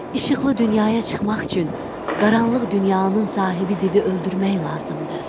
Işıqlı dünyaya çıxmaq üçün qaranlıq dünyanın sahibi divi öldürmək lazımdır.